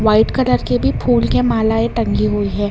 White colour के भी फूल के मालाएं टंगी हुई है।